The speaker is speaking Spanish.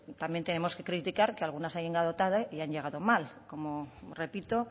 también tenemos que criticar que algunas han llegado tarde y han llegado mal como repito